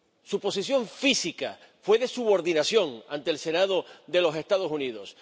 Su posición física fue de subordinación ante el Senado de los Estados Unidos.